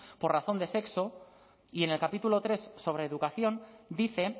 por razón de sexo y en el capítulo tercero sobre educación dice